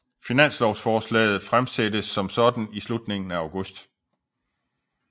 Finanslovsforslaget fremsættes som sådan i slutningen af august